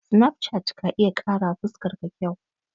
Sinafcat ka iya ƙarawa fuskar ka kyau.